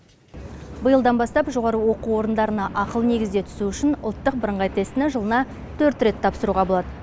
биылдан бастап жоғары оқу орындарына ақылы негізде түсу үшін ұлттық бірыңғай тестіні жылына төрт рет тапсыруға болады